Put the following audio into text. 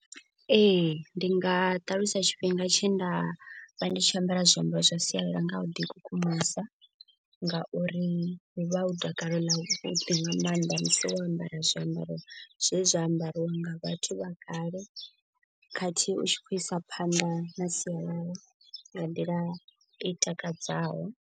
Ee ndi nga ṱalusa tshifhinga tshe nda vha ndi tshi ambara zwiambaro zwa sialala nga u ḓi kukumusa. Ngauri hu vha hu takale ḽa vhuḓi nga maanḓa musi wo ambara zwiambaro zwe zwa ambarwa nga vhathu vha kale. Khathihi u tshi khou isa phanḓa na sialala nga nḓila i takadzaho.